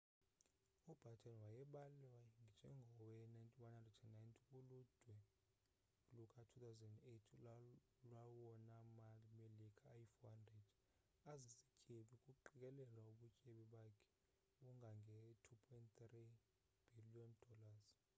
ubatten wayebalwe njengowe-190 kuludwe luka-2008 lwawona ma-melika ayi-400 azizityebi, kuqikelelwa ubutyebi bakhe bungange-$2.3 bhiliyoni